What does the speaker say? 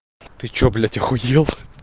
ты что блять ахуел